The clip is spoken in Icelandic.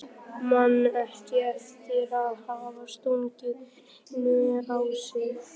Man ekki eftir að hafa stungið neinu á sig.